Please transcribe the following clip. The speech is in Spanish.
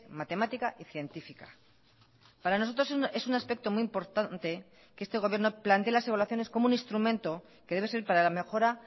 matemática y científica para nosotros es un aspecto muy importante que este gobierno plantee las evaluaciones como un instrumento que debe ser para la mejora